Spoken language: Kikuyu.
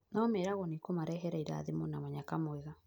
no meragwo nĩikũmarehera irathimo na mũnyaka mwega